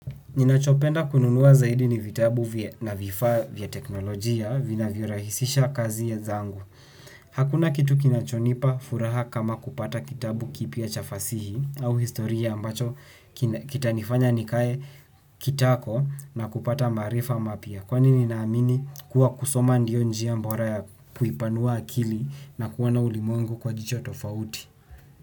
Ninachopenda kununua zaidi ni vitabu na vifaa vya teknolojia vinavyorahisisha kazi zangu. Hakuna kitu kinachonipa furaha kama kupata kitabu kipya cha fasihi au historia ambacho kitanifanya nikae kitako na kupata maarifa mapya. Kwani ninaamini kuwa kusoma ndio njia bora ya kuipanua akili na kuona ulimwengu kwa jicho tofauti.